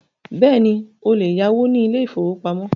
Bẹ́ẹ̀ni, o lè yáwó ní ilé ìfọwọ́pamo.